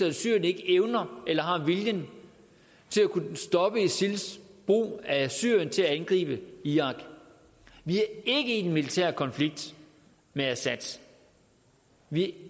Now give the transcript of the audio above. at syrien ikke evner eller har viljen til at kunne stoppe isils brug af syrien til at angribe irak vi er ikke i en militær konflikt med assad vi